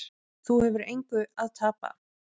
Þú hefur engu að tapa.